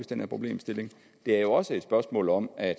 den her problemstilling det er jo også et spørgsmål om at